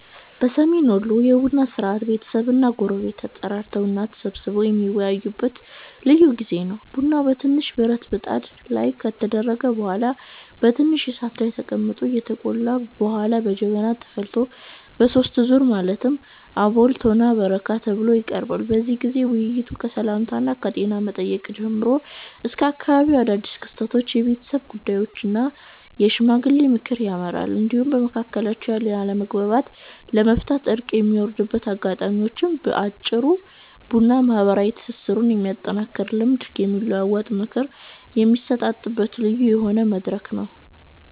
በሰሜን ወሎ የቡና ሥርዓት ቤተሰብና ጎረቤቶች ተጠራርተው እና ተሰባስበው የሚወያዩበት ልዩ ጊዜ ነው። ቡናው በትንሽ ብረት ብጣት ላይ ከተደረገ በኋላ በትንሽ እሳት ላይ ተቀምጦ ከተቆላ በኋላ በጀበና ተፈልቶ በሦስት ዙር ማለትም አወል፣ ቶና እና በረካ ተብሎ ይቀርባል። በዚህ ጊዜ ውይይቱ ከሰላምታና ከጤና መጠየቅ ጀምሮ ወደ አካባቢው አዳድስ ክስተቶች፣ የቤተሰብ ጉዳዮች እና የሽማግሌዎች ምክር ያመራል፤ እንዲሁም በመካከላቸው ያለውን አለመግባባት ለመፍታት እርቅ የሚወርድበት አጋጣሚም ነው። በአጭሩ ቡና ማህበራዊ ትስስሩን የሚያጠናክርና ልምድ የሚለዋወጥበት፣ ምክር የሚሰጣጥበት ልዩ የሆነ መድረክ ነው።